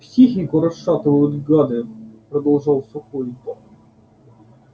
психику расшатывают гады продолжал сухой